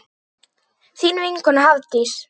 Þín vinkona Hafdís.